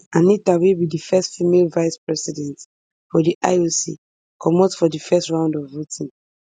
anita wey be di first female vice president for di ioc comot for di first round of voting